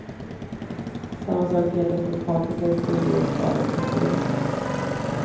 Samma sak gäller för paprika i strimlor och skalad pepparrot.